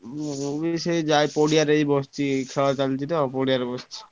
ମୁଁ ଏଇ ସେ ଯା ପଡିଆରେ ଏଇ ବସିଛି ଖେଳ ଚାଲିଛି ତ ପଡିଆରେ ବସିଛି।